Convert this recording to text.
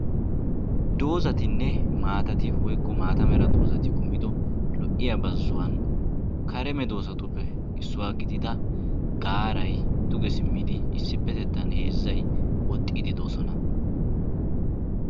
Doozzatinne maatati woykko maata mera dozzati kumido lo"iyaa bazzuwan kare medoosatuppe issuwa gidida gaaray duge simmidi issippettettan heezzay woxxiiddi de'oosona.